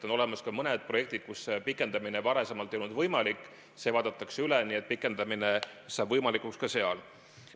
On olemas mõned projektid, kus pikendamine varem ei olnud võimalik, see vaadatakse üle, nii et pikendamine saab võimalikuks ka seal.